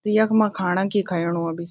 त यखमा खाणाकि खयेणु अभि।